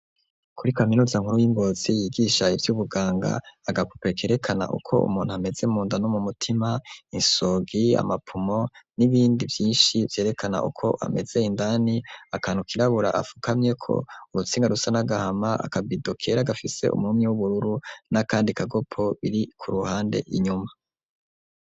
Kuri kaminuzankuru y'igozi yigisha ivyoubuganga agapupe kerekana uko umuntu ameze munda no mu mutima, insogi, amapumo n'ibindi vyinshi vyerekana uko amezeyindani akantu kirabura afukamyeko urutsinga rusa n'agahama akabido kera gafise umumi w'ubururu n'akandi kagopo biri kuruhande inyuma.